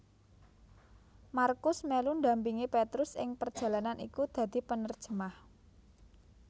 Markus melu ndampingi Petrus ing perjalanan iku dadi penerjemah